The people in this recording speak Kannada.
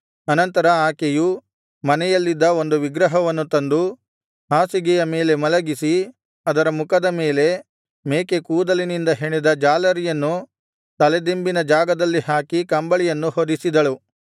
ಅನಂತರ ಆಕೆಯು ಮನೆಯಲ್ಲಿದ್ದ ಒಂದು ವಿಗ್ರಹವನ್ನು ತಂದು ಹಾಸಿಗೆಯ ಮೇಲೆ ಮಲಗಿಸಿ ಅದರ ಮುಖದ ಮೇಲೆ ಮೇಕೆಕೂದಲಿನಿಂದ ಹೆಣೆದ ಜಾಲರಿಯನ್ನು ತಲೆದಿಂಬಿನ ಜಾಗದಲ್ಲಿ ಹಾಕಿ ಕಂಬಳಿಯನ್ನು ಹೊದಿಸಿದಳು